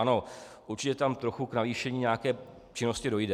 Ano, určitě tam trochu k navýšení nějaké činnosti dojde.